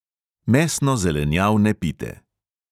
Mesno-zelenjavne pite.